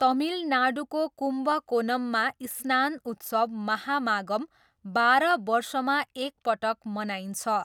तमिलनाडुको कुम्बकोनममा स्नान उत्सव महामागम बाह्र वर्षमा एकपटक मनाइन्छ।